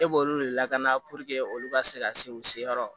E b'olu de lakana purke olu ka se ka se u seyɔrɔ